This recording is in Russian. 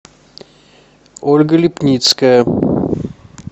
ольга лепницкая